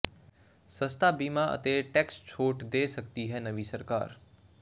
ਸਸਤਾ ਬੀਮਾ ਅਤੇ ਟੈਕਸ ਛੋਟ ਦੇ ਸਕਦੀ ਹੈ ਨਵੀਂ ਸਰਕਾਰ